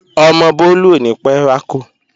Ọmọ Bólú ò ní pẹ́ rákò